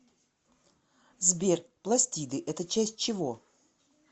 сбер пластиды это часть чего